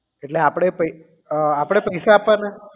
એટલે આપણે પૈ આપણે પૈસા આપવાના